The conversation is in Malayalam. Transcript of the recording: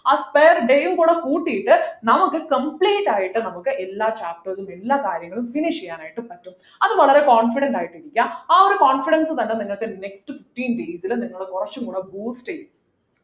ആ spare day യുംകൂടി കൂട്ടിയിട്ട് നമുക്ക് complete ആയിട്ട് നമുക്ക് എല്ലാ chapters ഉം എല്ലാ കാര്യങ്ങളും finish ചെയ്യാൻ ആയിട്ട് പറ്റും അത് വളരെ confident ആയിട്ടിരിക്കുക ആ ഒരു confidence തന്നെ നിങ്ങക്ക് next fifteen days ലു നിങ്ങള കുറച്ചുകൂടെ boost ചെയ്യും